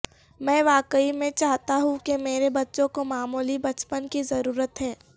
میں واقعی میں چاہتا ہوں کہ میرے بچوں کو معمولی بچپن کی ضرورت ہے